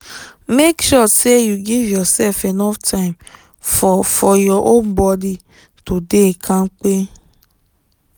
make sure say you give yourself enough time for for your own body to dey kampe